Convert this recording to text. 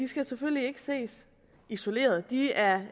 skal selvfølgelig ikke ses isoleret de er